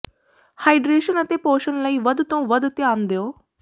hydration ਅਤੇ ਪੋਸ਼ਣ ਲਈ ਵੱਧ ਤੋਂ ਵੱਧ ਧਿਆਨ ਦਿਓ